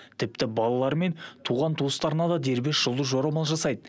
тіпті балалары мен туған туыстарына да дербес жұлдыз жорамал жасайды